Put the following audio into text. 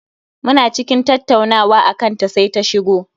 Muna cikin tattaunawa akan ta sai ta shigo